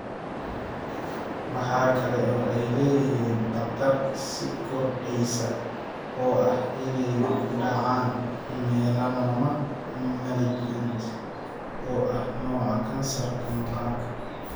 Waxa kale oo ay leeyihiin khatar sii kordhaysa oo ah inay ku dhacaan melanoma malignant, oo ah nooca kansarka maqaarka.